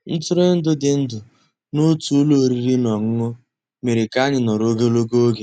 Ntụ́rụ́èndụ́ dị́ ndụ́ n'ótú ụ́lọ́ òrìrì ná ọ́nụ́ṅụ́ mérè ká ànyị́ nọ̀rọ́ ògólógó ògé.